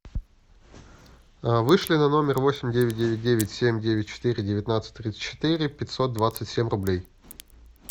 вышли на номер восемь девять девять девять семь девять четыре девятнадцать тридцать четыре пятьсот двадцать семь рублей